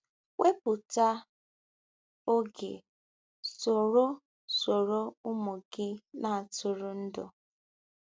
Wepụta oge soro soro ụmụ gị na-atụrụ ndụ